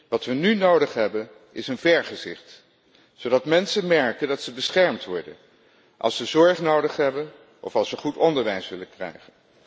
Wat we nu nodig hebben is een vergezicht, zodat mensen merken dat ze beschermd worden als ze zorg nodig hebben of als ze goed onderwijs willen krijgen.